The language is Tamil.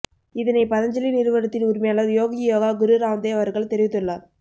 இதனை பதஞ்சலி நிறுவனத்தின் உரிமையாளர் யோகி யோகா குரு ராம்தேவ் அவர்கள் தெரிவித்துள்ளார்